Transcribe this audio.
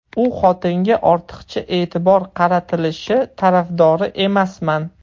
U xotinga ortiqcha e’tibor qaratilishi tarafdori emasman.